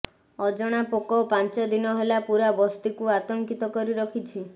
ଅଜଣା ପୋକ ପାଞ୍ଚ ଦିନ ହେଲା ପୂରା ବସ୍ତିକୁ ଆତଙ୍କିତ କରି ରଖିଛନ୍ତି